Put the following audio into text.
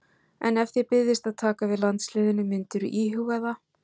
En ef þér byðist að taka við landsliðinu myndirðu íhuga það?